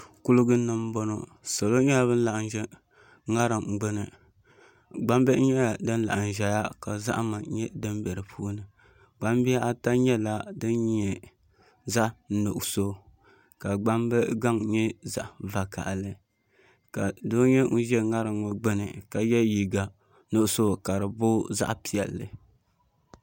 Kuligi ni n bɔŋɔ salo nyɛla bin laɣam ʒɛ ŋarim gbuni gbambihi nyɛla din laɣam ʒɛya ka zahama nyɛ din bɛ di puuni gbambihi ata nyɛla din nyɛ zaɣ nuɣso ka gbambili gaŋ nyɛ zaɣ vakaɣali ka doo nyɛ ŋun ʒɛ ŋarim ŋɔ gbuni ka yɛ liiga nuɣso ka di booi zaɣ piɛlli